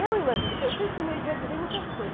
Eu imagi, que sempre fui meio, idealizei em muitas coisas.